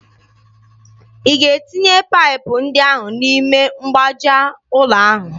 Ị ga-etinye paịpụ ndị ahụ n'ime mgbaaja ụlọ ahụ!